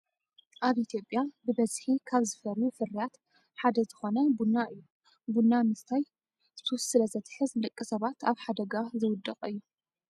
ኣብ ኢትዮጵያ ብበዝሒ ካብ ዝፈርዩ ፍርያት ሓደ ዝኮነ ቡና እዩ። ቡና ምስታይ ሱስ ስለ ዘትሕዝ ንደቂ ሰባት ኣብ ሓደጋ ዘውድቅ እዩ ።